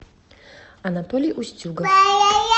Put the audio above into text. анатолий устюгов